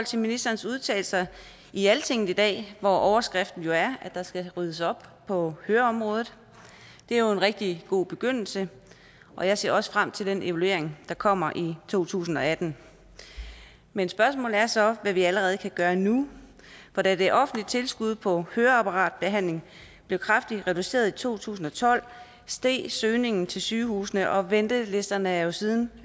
til ministerens udtalelser i altinget i dag hvor overskriften jo er at der skal ryddes op på høreområdet det er jo en rigtig god begyndelse og jeg ser også frem til den evaluering der kommer i to tusind og atten men spørgsmålet er så hvad vi allerede kan gøre nu for da det offentlige tilskud på høreapparatbehandling blev kraftigt reduceret i to tusind og tolv steg søgningen til sygehusene og ventelisterne er jo siden